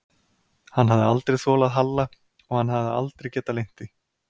Hann hafði aldrei þolað Halla og hann hafði aldrei getað leynt því.